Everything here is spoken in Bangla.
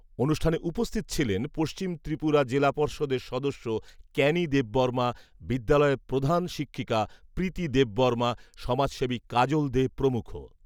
অনুষ্ঠানে উপস্থিত ছিলেন পশ্চিম ত্রিপুরা জেলা পর্ষদের সদস্য ক্যানি দেববর্মা , বিদ্যালয়ের প্রধান শিক্ষিকা প্রীতি দেববর্মা, সমাজসেবী কাজল দে প্রমুখ।